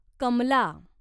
Kamala